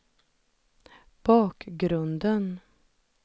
bakgrunden